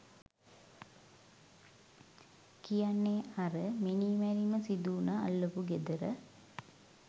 කියන්නේ අර මිනී මැරීම සිදු උන අල්ලපු ගෙදර